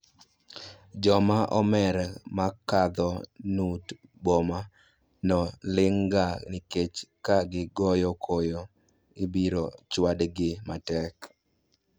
Joma omer makadho nut boma no ling' ga nikech ka gigoyo koyo ibiro chwad gi matek